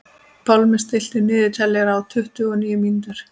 Pálmi, stilltu niðurteljara á tuttugu og níu mínútur.